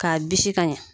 K'a bisi ka ɲɛ